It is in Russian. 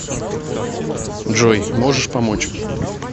джой можешь помочь